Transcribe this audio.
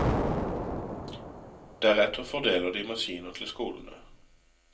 Deretter fordeler de maskiner til skolene.